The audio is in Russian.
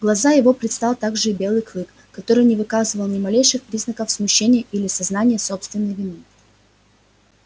глаза его предстал также и белый клык который не выказывал ни малейших признаков смущения или сознания собственной вины